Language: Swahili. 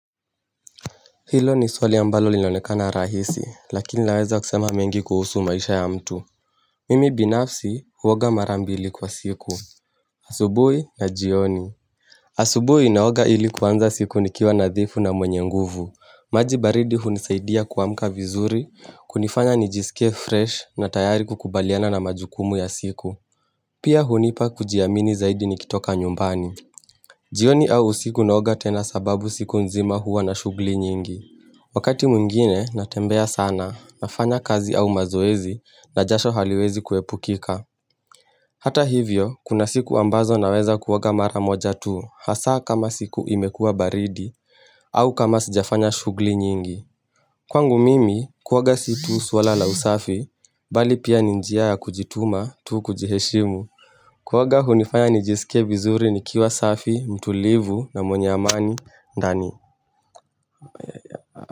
Hilo ni swali ambalo linaonekana rahisi lakini linaweza kusema mengi kuhusu maisha ya mtu Mimi binafsi huoga mara mbili kwa siku asubuhi na jioni asubuhi naoga ili kuanza siku nikiwa nadhifu na mwenye nguvu Majibaridi hunisaidia kuwamka vizuri kunifanya nijisike fresh na tayari kukubaliana na majukumu ya siku Pia hunipa kujiamini zaidi nikitoka nyumbani jioni au usiku naoga tena sababu siku nzima huwa na shughuli nyingi Wakati mwingine natembea sana nafanya kazi au mazoezi na jasho haliwezi kuepukika. Hata hivyo, kuna siku ambazo naweza kuoga mara moja tuu hasa kama siku imekua baridi au kama sijafanya shughuli nyingi. Kwangu mimi, kuoga si tu swala la usafi, bali pia ni njia ya kujituma tuu kujiheshimu. Kuoga hunifanya nijisike vizuri nikiwa safi, mtulivu na mwenye amani, ndani.